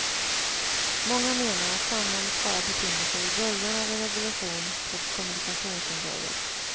Många menar att samhället bara befinner sig i början av en revolution på kommunikationsområdet.